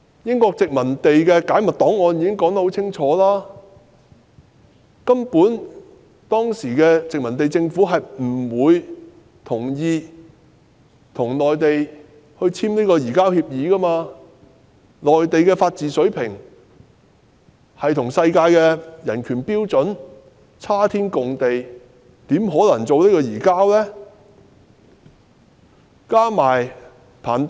英國的解密檔案清楚指出，當時的殖民地政府根本不同意與內地簽署移交逃犯協議，因為內地的法治水平與世界人權標準相去甚遠，因此根本不可能將逃犯移交內地。